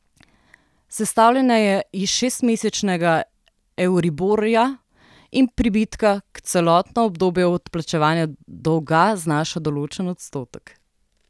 Sestavljena je iz šestmesečnega euriborja in pribitka, ki celotno obdobje odplačevanja dolga znaša določen odstotek.